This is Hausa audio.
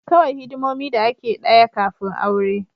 Kawai hidimomi da ake daya kafin aure